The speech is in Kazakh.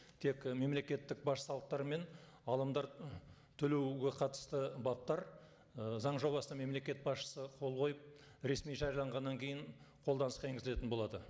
тек і мемлекеттік баж салықтары мен ғалымдар төлеуге қатысты баптар ы заң жобасына мемлекет басшысы қол қойып ресми жарияланғаннан кейін қолданысқа енгізілетін болады